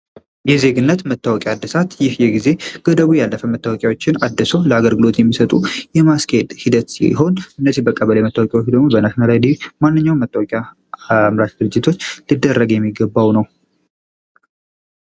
የዜግነት መታወቂያ እደሳት ይህ የጊዜ ገደቡ ያለፈ መታወቂያዎችን አደሰው ለአገግሎት የሚሰጡ የማስኬድ ሂደት ሲሆን እነዚህ በቀበሌ የመታወቂያዎች ደግሞ በናሽናል አይዲ ማንኛውም መታወቂያ አምራች ድርጅቶች ሊደረግ የሚገባው ነው።